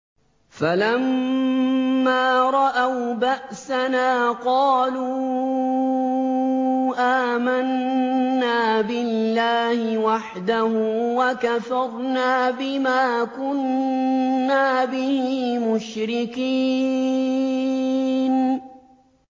فَلَمَّا رَأَوْا بَأْسَنَا قَالُوا آمَنَّا بِاللَّهِ وَحْدَهُ وَكَفَرْنَا بِمَا كُنَّا بِهِ مُشْرِكِينَ